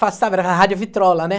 Passava era rádio Vitrola, né?